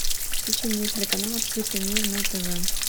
включи мне телеканал открытый мир на тв